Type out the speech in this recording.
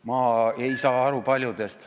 Ma ei saa aru paljudest ...